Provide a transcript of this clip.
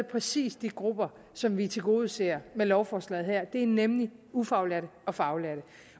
præcis de grupper som vi tilgodeser med lovforslaget her nemlig ufaglærte og faglærte